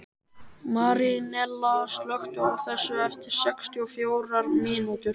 Marínella, slökktu á þessu eftir sextíu og fjórar mínútur.